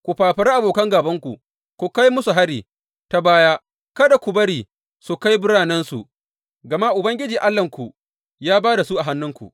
Ku fafari abokan gābanku, ku kai musu hari ta baya, kada ku bari su kai biranensu, gama Ubangiji Allahnku ya ba da su a hannunku.